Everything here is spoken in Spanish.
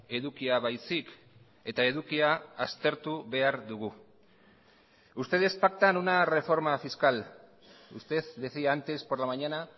edukia baizik eta edukia aztertu behar dugu ustedes pactan una reforma fiscal usted decía antes por la mañana